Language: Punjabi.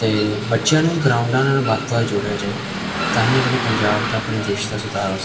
ਤੇ ਬੱਚਿਆਂ ਨੂੰ ਗਰਾਊਂਡਾਂ ਨਾਲ ਵੱਧ ਤੋਂ ਵੱਧ ਜੋੜਿਆ ਜਾਏ ਤਾਹੀਂ ਅਪਨੇ ਪੰਜਾਬ ਦਾ ਅਪਣੇ ਦੇਸ਼ ਦਾ ਸੁਧਾਰ ਹੋ ਸਕ--